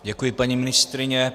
Děkuji, paní ministryně.